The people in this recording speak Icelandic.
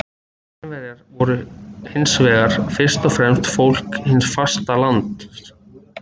Kínverjar voru hins vegar fyrst og fremst fólk hins fasta lands.